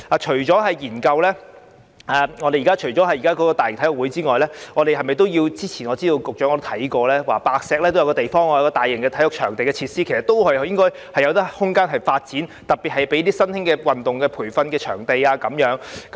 除了研究申辦大型運動會外，我知道局長曾經研究在白石興建大型體育場地設施，該處其實應該都有發展空間，特別是作為新興運動的培訓場地。